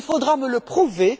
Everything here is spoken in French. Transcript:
Il faudra me le prouver!